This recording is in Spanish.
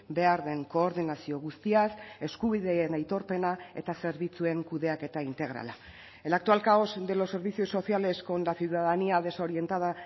behar den koordinazio guztiaz eskubideen aitorpena eta zerbitzuen kudeaketa integrala el actual caos de los servicios sociales con la ciudadanía desorientada